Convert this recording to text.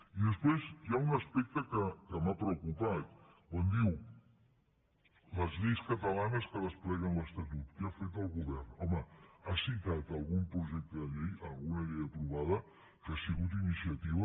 i després hi ha un aspecte que m’ha preocupat quan diu les lleis catalanes que despleguen l’estatut què ha fet el govern home ha citat algun projecte de llei alguna llei aprovada que ha sigut iniciativa